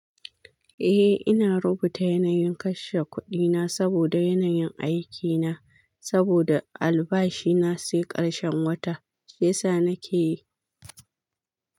Eh, ina rubuta yanayin kashe kuɗina saboda yanayin aikina. Saboda albashi na sai ƙarshen wata, shi yasa nake yi.